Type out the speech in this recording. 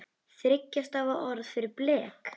Þriggja stafa orð fyrir blek?